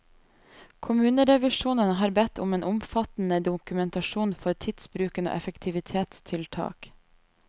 Kommunerevisjonen har bedt om en omfattende dokumentasjon for tidsbruken og effektivitetstiltak.